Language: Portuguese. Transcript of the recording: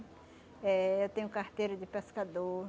Eh eu tenho carteira de pescador.